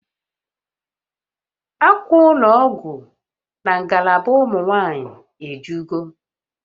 Akwa ụlọ ọgwụ na ngalaba ụmụ nwanyị ejugo